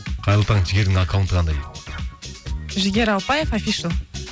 қайырлы таң жігердің аккаунты қандай дейді жігер ауыпбаев афишл